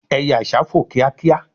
eye àsá fò kíákíá